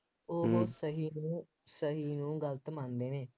ਉਹ ਸਹੀ ਨੂੰ ਸਹੀ ਨੂੰ ਗਲਤ ਮੰਨਦੇ ਨੇ,